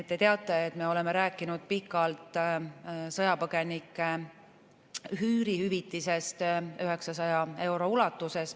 Te teate, et me oleme rääkinud pikalt sõjapõgenike üüri hüvitisest 900 euro ulatuses.